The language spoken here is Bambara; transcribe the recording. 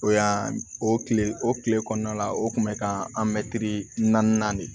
O yan o kile o kile kɔnɔna la o kun bɛ ka naaninan de